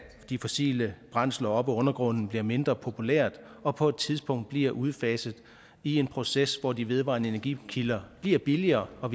de fossile brændsler op af undergrunden bliver mindre populært og på et tidspunkt bliver udfaset i en proces hvor de vedvarende energikilder bliver billigere og